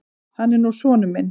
Hann er nú sonur minn.